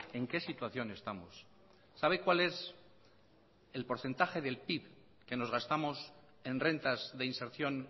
en qué situación estamos sabe cuál es el porcentaje del pib que nos gastamos en rentas de inserción